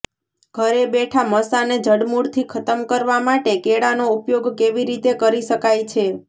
ઘરે બેઠા મસાને જડમૂળથી ખતમ કરવા માટે કેળાનો ઉપયોગ કેવી રીતે કરી શકાય છે